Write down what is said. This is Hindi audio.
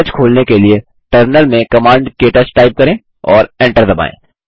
के टच खोलने के लिए टर्मिनल में कमांड क्टच टाइप करें और एंटर दबाएँ